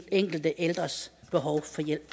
enkelte ældres behov